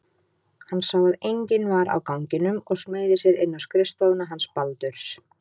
Hann sá að enginn var á ganginum og smeygði sér inn á skrifstofuna hans Baldurs.